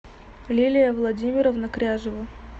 лилия владимировна кряжева